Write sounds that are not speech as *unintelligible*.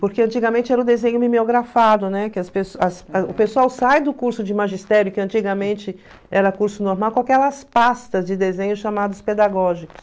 Porque antigamente era o desenho mimeografado, né, que as *unintelligible* o pessoal sai do curso de magistério, que antigamente era curso normal, com aquelas pastas de desenho chamadas pedagógicos.